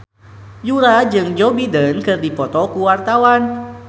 Yura jeung Joe Biden keur dipoto ku wartawan